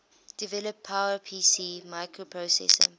develop powerpc microprocessor